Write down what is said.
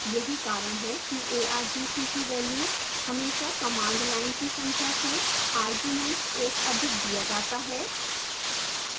यही कारण है कि argc की value हमेशा command line की संख्या से arguments एक अधिक दिया जाता है